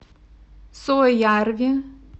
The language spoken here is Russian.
суоярви